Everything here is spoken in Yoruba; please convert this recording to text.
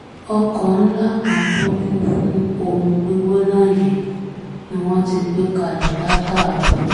ọkọ̀ ńlá kan tó kún fún omi gbígbóná yìí ni wọ́n ti gbé kalẹ̀ látàárọ̀